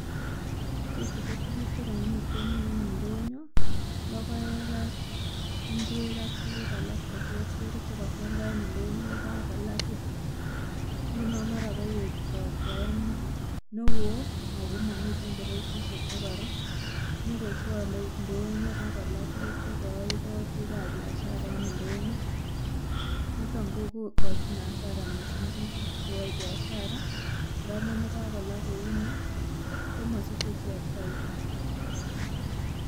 Ichechu ko tuguk chegomiten indonyo, logoek ak ing'uek ak tukuk alak cheterter chekokioldo en indonyo ko ka kolaa beek, ingunon mara koyet robta newoo ago momiten koroisisit chekoron, nyokochwole indonyo ak kolaa tukuk chegooldo bik ab biashara en indonyo, niton kokochin hasara missing bik cheyoe biashara ng'amun yekakola kouni komosiche ichek baita.